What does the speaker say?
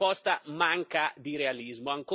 Questa proposta manca di realismo.